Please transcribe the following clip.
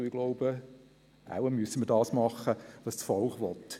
Und ich glaube, wir müssen wohl tun, was das Volk will.